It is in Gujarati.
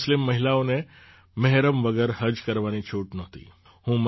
પહેલાં મુસ્લિમ મહિલાઓને મેહરમ વગર હજ કરવાની છૂટ નહોતી